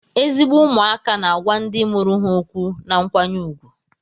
Ezigbo ụmụaka na-agwa ndị mụrụ ha okwu na nkwanye ùgwù